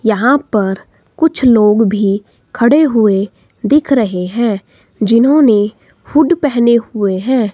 यहाँ पर कुछ लोग भी खड़े हुवे दिख रहे हैं जिन्होंने हुड पेहने हुवे हैं।